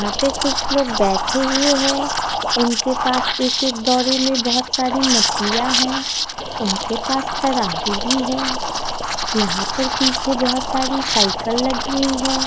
यहां पे कुछ लोग बैठे हुए है उनके पास एक एक दोवरी में बहुत सारी मछलियां है उनके पास तराजू भी है यहां पर पीछे बहुत सारे साइकिल लगी हुई है।